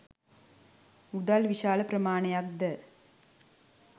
මුදල් විශාල ප්‍රමාණයක්ද